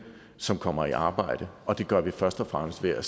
som kommer i arbejde og det gør vi først og fremmest ved at